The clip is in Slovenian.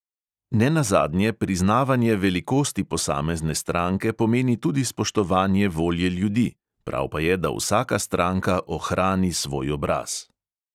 Ne nazadnje priznavanje velikosti posamezne stranke pomeni tudi spoštovanje volje ljudi; prav pa je, da vsaka stranka ohrani svoj obraz.